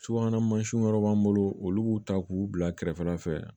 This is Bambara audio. Subahana mansinw yɔrɔ b'an bolo olu b'u ta k'u bila kɛrɛfɛla fɛ